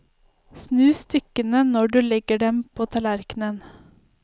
Snu stykkene når du legger dem på tallerken.